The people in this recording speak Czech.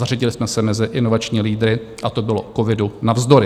Zařadili jsme se mezi inovační lídry, a to bylo covidu navzdory.